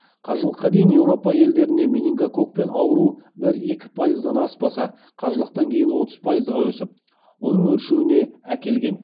қажылыққа дейін еуропа елдерінде менингококкпен ауыру бір екі пайыздан аспаса қажылықтан кейін отыз пайызға өсіп оның өршуіне әкелген